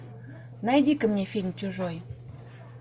найди ка мне фильм чужой